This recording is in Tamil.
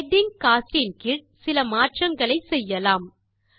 ஹெடிங் கோஸ்ட் கீழ் சில மாற்றங்கள் செய்யலாம்